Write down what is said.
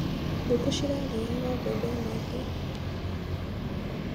Ngũkũ cirarĩaga mbembe nyingĩ.